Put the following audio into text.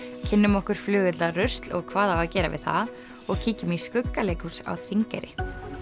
kynnum okkur flugeldarusl og hvað á að gera við það og kíkjum í á Þingeyri